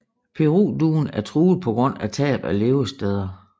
Peruduen er truet på grund af tab af levesteder